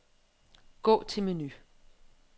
Gå til menu.